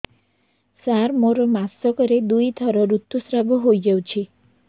ସାର ମୋର ମାସକରେ ଦୁଇଥର ଋତୁସ୍ରାବ ହୋଇଯାଉଛି